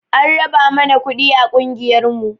An raba mana kuɗi a ƙungiyar mu